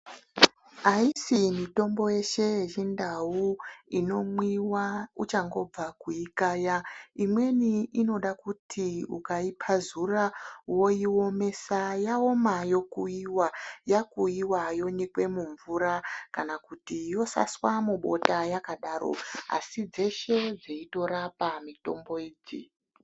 Haisi mitombo yese yechindau inomwiwa uchangibva kuikaya. Imweni inoda kuti ukapazura woiomesa yaoma yokuiwa, yakuiwa yonyikea mumvura kana kuti yosaswa mubota yakadaro asi dzese dzeitorapa mitombo idzi.